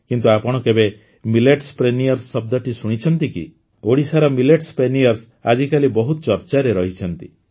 କିନ୍ତୁ ଆପଣ କେବେ ମିଲେଟ୍ପ୍ରେନିୟର୍ସ ଶବ୍ଦଟି ଶୁଣିଛନ୍ତି କି ଓଡ଼ିଶାର ମିଲେଟ୍ପ୍ରେନିୟର୍ସ ଆଜିକାଲି ବହୁତ ଚର୍ଚ୍ଚାରେ ରହିଛନ୍ତି